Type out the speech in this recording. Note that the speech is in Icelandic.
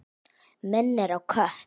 Minnir á kött.